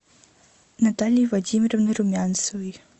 натальей владимировной румянцевой